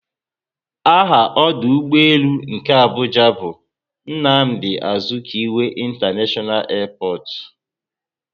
Aha ọdụ ụgbọelu nke Abuja bu "Nnamdi Azikiwe International airport"